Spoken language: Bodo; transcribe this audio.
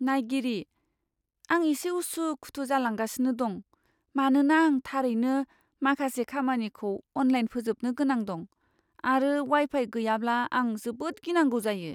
नायगिरिः "आं एसे उसु खुथु जालांगासिनो दं, मानोना आं थारैनो माखासे खामानिखौ अनलाइन फोजोबनो गोनां दं, आरो वाइ फाइ गैयाब्ला आं जोबोद गिनांगौ जायो।"